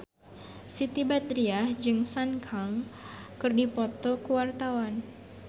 Siti Badriah jeung Sun Kang keur dipoto ku wartawan